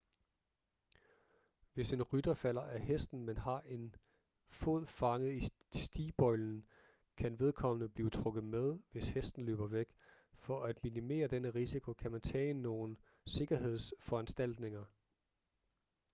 hvis en rytter falder af hesten men har en fod fanget i stigbøjlen kan vedkommende blive trukket med hvis hesten løber væk for at minimere denne risiko kan man tage nogle sikkerhedsforanstaltninger